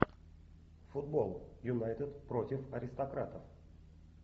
футбол юнайтед против аристократов